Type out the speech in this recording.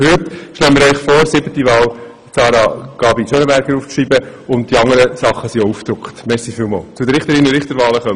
Für heute empfehle ich Ihnen jedenfalls, Sarah Gabi in die GSoK zu wählen.